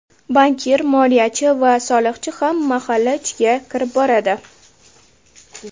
Bankir, moliyachi va soliqchi ham mahalla ichiga kirib boradi.